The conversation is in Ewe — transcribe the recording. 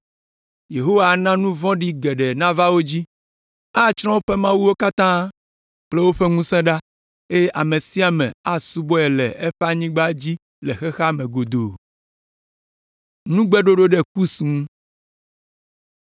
Yehowa ana nu vɔ̃ɖi geɖe nava wo dzi. Atsrɔ̃ woƒe mawuwo katã kple woƒe ŋusẽ ɖa, eye ame sia ame asubɔe le eƒe anyigba dzi le xexea me godoo.